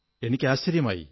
എനിക്ക് ആശ്ചര്യമായി